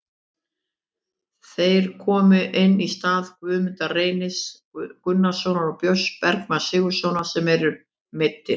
Þeir komu inn í stað Guðmundar Reynis Gunnarssonar og Björns Bergmanns Sigurðarsonar sem eru meiddir.